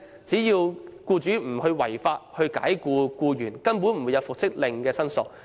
只要僱主沒有違法解僱僱員，根本不會出現與復職令有關的申索。